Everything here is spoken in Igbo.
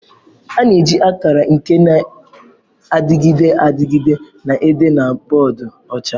A na-eji akara nke na-adịgide adịgide na-ede na boodu ọcha.